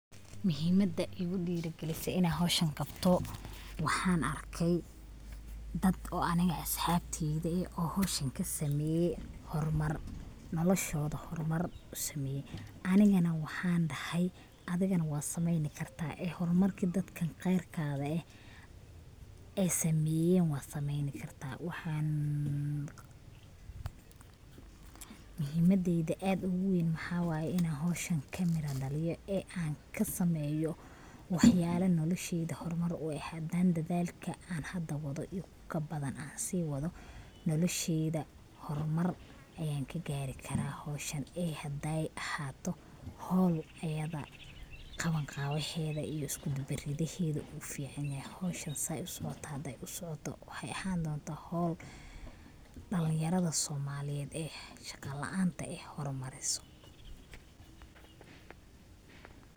Muhimada igu dhiiri gelisee inan howshan qabto waxan arkay dad oo aniga asxabteyda eh oo howshan kasameeye horumar, nolosha horumar usameeye ,anigana waxan dhahay adigana wad saneeyni kartaa ee horumarki dadkan qeerkaga eh ay sameeyeen wad sameeyni kartaa waxan muhimadeyda aad ogu weyn maxawaye inan howshan kaa mira dhaaliyo ee an kasameeyo wax yala nolosheeyda horumar u eh hadan dadalka an hada waado iyo ku kabadan an sii waado nolosheeyda horumar ayan kagaari karaa howshan ee haday ahaato howl ayada qaban qaabeheda iyo iskudubaridkeedu uu fican yahay, howshan sai usocooto haday usocooto waxay ahan dontaa howl dhalin yarada soomaaliyed ee shaqa la'anta eh horumaariso